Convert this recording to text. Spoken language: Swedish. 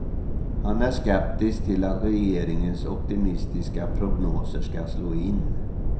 Han är skeptisk till att regeringens optimistiska prognoser ska slå in.